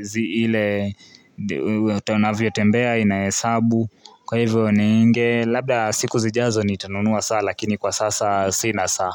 zile mtu anavyo tembea inahesabu kwa hivyo ninge Labda siku zijazo ni tanunua saa lakini kwa sasa sina saa.